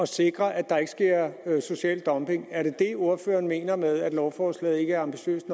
sikre at der ikke sker social dumping er det det ordføreren mener med at lovforslaget ikke er ambitiøst